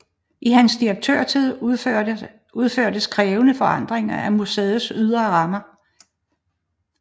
I hans direktørtid udførtes krævende forandringer af museets ydre rammer